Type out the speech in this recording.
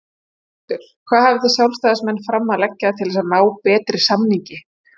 Höskuldur: Hvað hafið þið sjálfstæðismenn fram að leggja til þess að ná betri samningi?